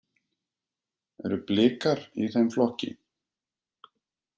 Eru Blikar í þeim flokki?